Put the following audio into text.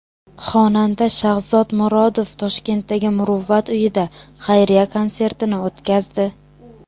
Xonanda Shahzod Murodov Toshkentdagi Muruvvat uyida xayriya konsertini o‘tkazdi.